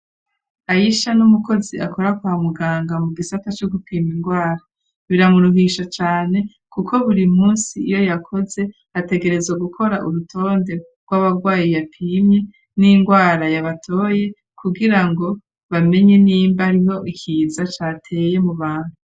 Ayishya ni umukozi akora kwa muganga mu gisata co gupima ingwara, biramuruhisha cane kuko buri munsi iyo yakoze ategerezwa gukora urutonde rw'abagwayi yapimye, n'ingwara yabatoye kugira ngo bamenye nimba hariho ikiza cateye mu bantu.